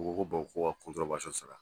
U ko ko ko ka sara